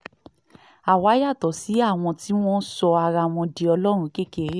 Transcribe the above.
àwa yàtọ̀ sí àwọn tí wọ́n sọ ara wọn di ọlọ́run kékeré